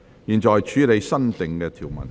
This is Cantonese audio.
現在處理新訂條文。